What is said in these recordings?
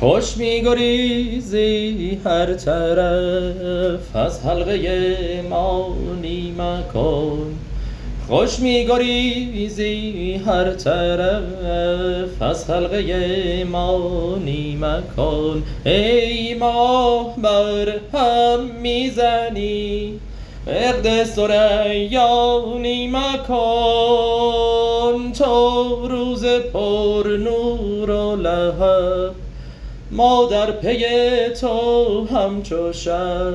خوش می گریزی هر طرف از حلقه ما نی مکن ای ماه برهم می زنی عهد ثریا نی مکن تو روز پرنور و لهب ما در پی تو همچو شب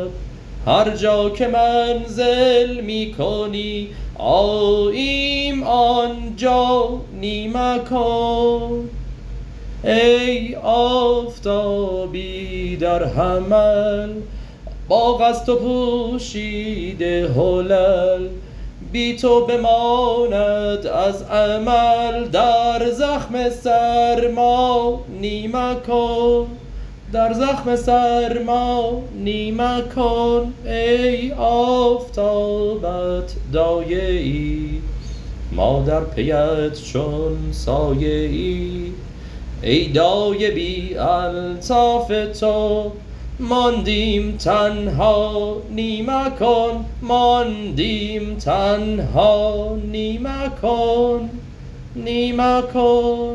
هر جا که منزل می کنی آییم آن جا نی مکن ای آفتابی در حمل باغ از تو پوشیده حلل بی تو بماند از عمل در زخم سرما نی مکن ای آفتابت دایه ای ما در پیت چون سایه ای ای دایه بی الطاف تو ماندیم تنها نی مکن